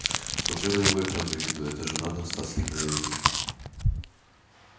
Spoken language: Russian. смотрю я на него и прям завидую это же надо остаться таким наивным